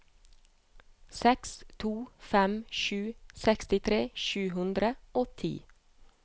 seks to fem sju sekstitre sju hundre og ti